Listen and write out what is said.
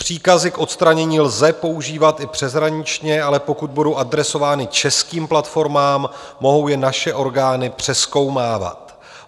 Příkazy k odstranění lze používat i přeshraničně, ale pokud budou adresovány českým platformám, mohou je naše orgány přezkoumávat.